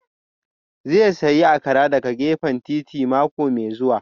Zai sayi Akara daga gefen titi mako mai zuwa